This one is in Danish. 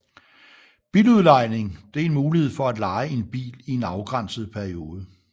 Biludlejning er en mulighed for at leje en bil i en afgrænset periode